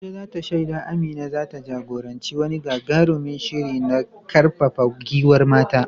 Abuja za ta shaida Amina za ta jagoranci wani gagarumin shiri na karfafa gwiwar mata.